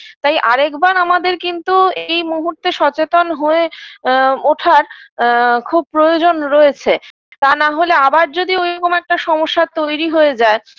তাই আরেকবার আমাদের কিন্তু এই মুহূর্তে সচেতন হয়ে আ ওঠার আ খুব প্রয়োজন রয়েছে তা না হলে আবার যদি ঐরকম একটা সমস্যা তৈরি হয়ে যায়